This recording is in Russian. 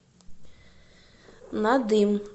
надым